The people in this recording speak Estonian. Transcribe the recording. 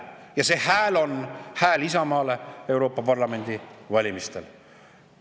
Ja see hääl on hääl Isamaale Euroopa Parlamendi valimistel.